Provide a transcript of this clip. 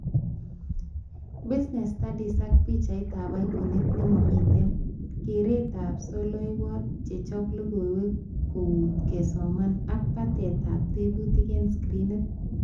Business studies ak pichaitab iconit nemamite, keretab soloiwot chechob logoiwo kouit kesoman ak batetab tebutik eng screenit